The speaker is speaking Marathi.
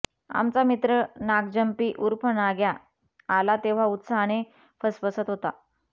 आमचा मित्र नागजंपी ऊर्फ नाग्या आला तेव्हा उत्साहाने फसफसत होता